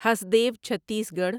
Hasdeo Chhattisgarh